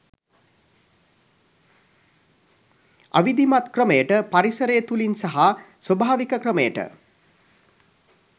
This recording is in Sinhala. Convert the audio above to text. අවිධිමත් ක්‍රමයට පරිසරය තුලින් සහ ස්වභාවික ක්‍රමයට